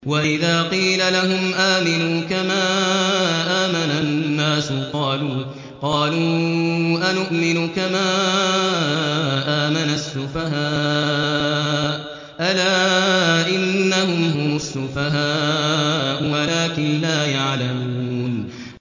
وَإِذَا قِيلَ لَهُمْ آمِنُوا كَمَا آمَنَ النَّاسُ قَالُوا أَنُؤْمِنُ كَمَا آمَنَ السُّفَهَاءُ ۗ أَلَا إِنَّهُمْ هُمُ السُّفَهَاءُ وَلَٰكِن لَّا يَعْلَمُونَ